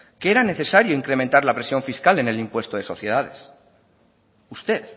que era necesario incrementar la presión fiscal en el impuesto de sociedades usted